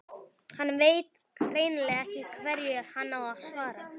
Hann veit hreinlega ekki hverju hann á að svara.